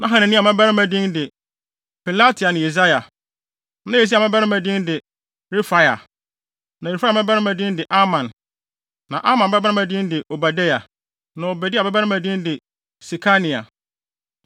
Na Hanania mmabarima din de Pelatia ne Yesaia. Na Yesaia babarima din de Refaia. Na Refaia babarima din de Arnan. Na Arnan babarima din de Obadia. Na Obadia babarima din de Sekania.